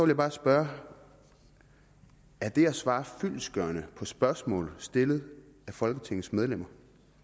jeg bare spørge er det at svare fyldestgørende på spørgsmål stillet af folketingets medlemmer